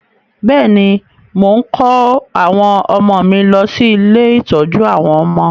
Bẹ́ẹ̀ ni, mò ń kó àwọn ọmọ mi lọ sí ilé-ìtọ́jú àwọn ọmọ